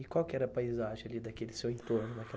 E qual que era a paisagem ali daquele seu entorno naquela